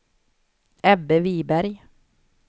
Ebbe Viberg